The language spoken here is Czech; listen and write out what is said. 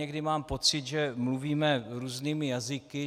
Někdy mám pocit, že mluvíme různými jazyky.